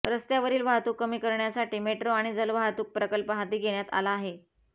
रस्त्यावरील वाहतूक कमी करण्यासाठी मेट्रो आणि जलवाहतूक प्रकल्प हाती घेण्यात आला आहे